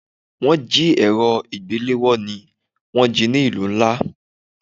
Wọ́n jí èrọ ìgbéléwọ́ ni wón jí ní ìlú ńlá.